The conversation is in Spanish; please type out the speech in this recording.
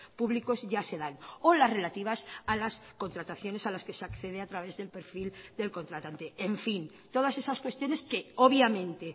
públicos ya se dan o las relativas a las contrataciones a las que se accede a través del perfil del contratante en fin todas esas cuestiones que obviamente